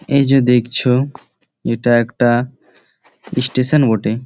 এই যে দেখছো এইটা একটা স্টেশন বটে ।